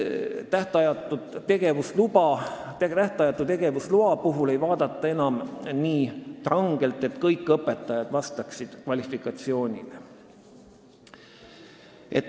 Tähtajatu tegevusloa puhul ei vaadata enam nii rangelt seda, et kõik õpetajad vastaksid kvalifikatsioonile.